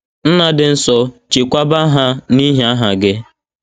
Nna dị nsọ, chekwaba ha n’ihi aha gị. ”